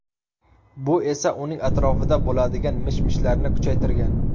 Bu esa uning atrofida bo‘ladigan mish-mishlarni kuchaytirgan.